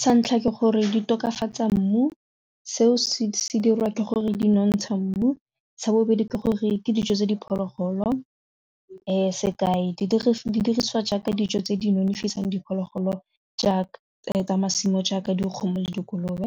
Sa ntlha ke gore di tokafatsa mmu, seo se dirwa ke gore di nontsha mmu sa bobedi ke gore ke dijo tse diphologolo sekai didiriswa jaaka dijo tse di nonofileng diphologolo jaaka tsa masimo jaaka dikgomo le dikolobe,